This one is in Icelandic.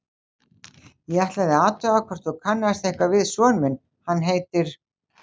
Ég ætlaði að athuga hvort þú kannaðist eitthvað við son minn, hann heitir